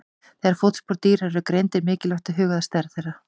Þegar fótspor dýra eru greind er mikilvægt að huga að stærð þeirra.